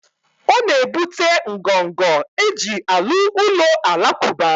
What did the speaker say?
O na ebute ngọngọ eji alu ulo alakuba